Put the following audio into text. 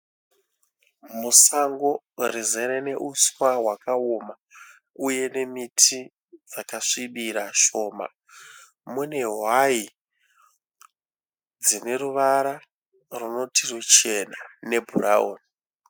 Musango rizere neuswa hwakaoma uye nemiti yakasvibirira shoma, mune hwai dzineruvara runoti ruchena nebhurauni.